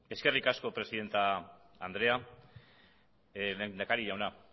eskerrik asko presidente andrea lehendakari jauna